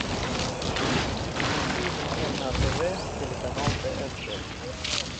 включи мне на тв телеканал тнт